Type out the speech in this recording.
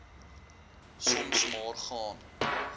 soms maar gaan